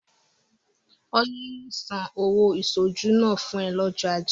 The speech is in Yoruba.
Ọlá yóò san ọ̀wọ́ ìṣojúlóge náà fún ẹ lọ́jọ́ ajé.